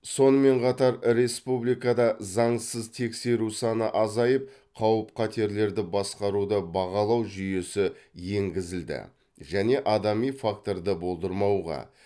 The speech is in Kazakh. сонымен қатар республикада заңсыз тексеру саны азайып қауіп қатерлерді басқаруды бағалау жүйесі енгізілді және адами факторды болдырмауға